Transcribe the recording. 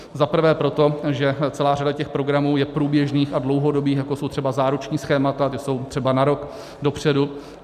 Zaprvé proto, že celá řada těch programů je průběžných a dlouhodobých, jako jsou třeba záruční schémata, ta jsou třeba na rok dopředu.